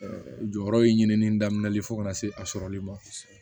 jɔyɔrɔ ye ɲinini daminɛli fo ka na se a sɔrɔli ma